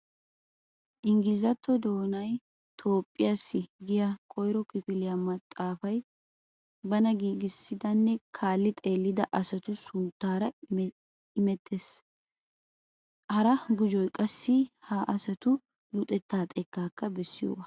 Inggilizzatto doonay Toophphiyassi giya koyro kifiliya maxaafay bana giigissidanne kaalli xeellida asatu sunttaara imettiis. Hara gujobay qassi ha asatu luxettaa xekkaa bessiyogaa.